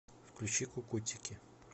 включи кукутики